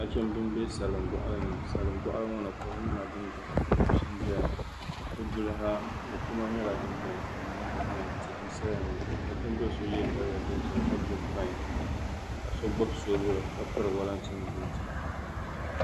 Nachimbi n bɛ salin boɣali ni salin boɣali ŋo ni kom nyɛla din doya ka mashin ʒɛya bi duli ha mokuma nyɛla din biɛni ka mo maha biɛni tihi n saya ŋo nachimbili so yɛ daliya dozimka so gbubi soobuli ka piri wolatin buut